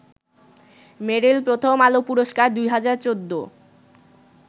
মেরিল প্রথম আলো পুরস্কার ২০১৪